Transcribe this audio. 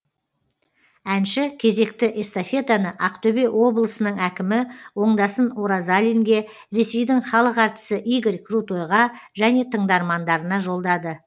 әнші кезекті эстафетаны ақтөбе облысының әкімі оңдасын оразалинге ресейдің халық әртісі игорь крутойға және тыңдармандарына жолдады